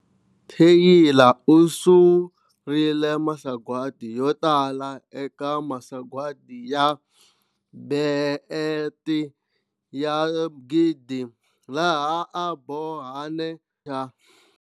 Tyla u surile masagwadi yo tala eka masagwadi ya BET ya 1000, laha a bohane na.